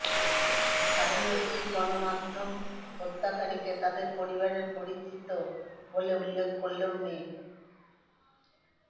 স্থানীয় একটি গণমাধ্যম হত্যাকারীকে তাদের পরিবারের পরিচিত বলে উল্লেখ করলেও মি